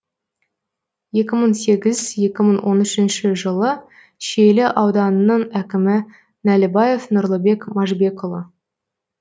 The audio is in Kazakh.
екі мың сегіз екі мың он үшінші жылы шиелі ауданының әкімі нәлібаев нұрлыбек машбекұлы